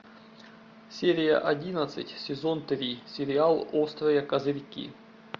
серия одиннадцать сезон три сериал острые козырьки